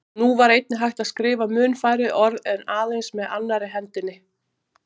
Nú var einnig hægt að skrifa mun færri orð aðeins með annarri hendinni.